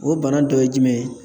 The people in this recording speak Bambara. O bana dɔ ye jumɛn ye